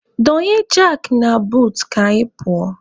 Donye jakị na buutu ka anyị pụọ.